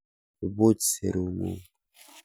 Ibuch serung'ung'.